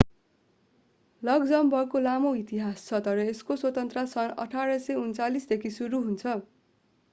लक्जमबर्गको लामो इतिहास छ तर यसको स्वतन्त्रता सन् 1839 देखि सुरु हुन्छ